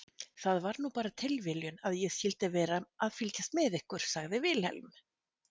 Það var nú bara tilviljun að ég skyldi vera að fylgjast með ykkur, sagði Vilhelm.